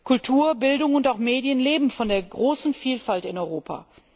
Kultur, Bildung und auch Medien leben von der großen Vielfalt in Europa.